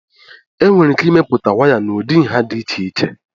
enwere ike imepụta waya n'ụdị nha dị iche iche